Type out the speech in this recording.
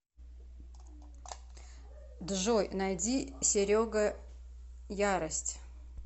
джой найди серега ярость